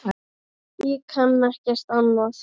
Ég kann ekkert annað.